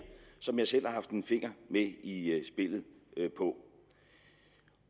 som jeg selv haft en finger med i spillet på